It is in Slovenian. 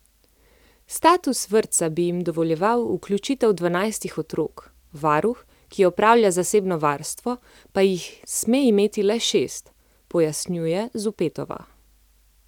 Status vrtca bi jim dovoljeval vključitev dvanajstih otrok, varuh, ki opravlja zasebno varstvo, pa jih sme imeti le šest, pojasnjuje Zupetova.